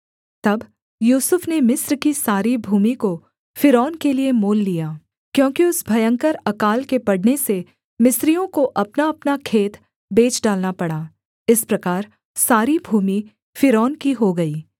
तब यूसुफ ने मिस्र की सारी भूमि को फ़िरौन के लिये मोल लिया क्योंकि उस भयंकर अकाल के पड़ने से मिस्रियों को अपनाअपना खेत बेच डालना पड़ा इस प्रकार सारी भूमि फ़िरौन की हो गई